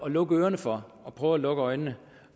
at lukke ørerne for og prøve at lukke øjnene